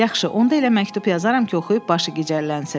Yaxşı, onda elə məktub yazaram ki, oxuyub başı gicəllənsin.